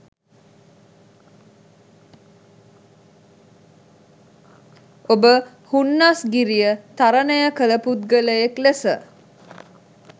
ඔබ හුන්නස්ගිරිය තරණය කල පුද්ගලයෙක් ලෙස